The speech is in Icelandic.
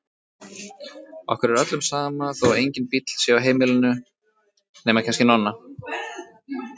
Okkur er öllum sama þó að enginn bíll sé á heimilinu, nema kannski Nonna.